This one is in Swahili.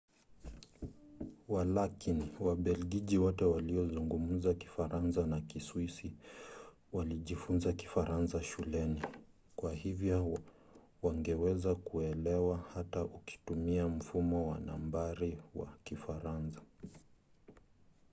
walakini wabelgiji wote waliozungumza kifaransa na kiswisi walijifunza kifaransa shuleni kwa hivyo wangeweza kukuelewa hata ukitumia mfumo wa nambari wa kifaransa